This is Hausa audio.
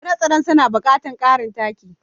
Tsire-tsiren suna buƙatar ƙarin taki.